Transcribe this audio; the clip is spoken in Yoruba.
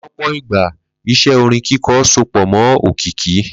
Ló̩pò̩ ìgbà, is̩é̩ orin kíko̩ so pò̩ mó̩ òkìkí